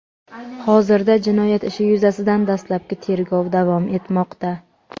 hozirda jinoyat ishi yuzasidan dastlabki tergov davom etmoqda.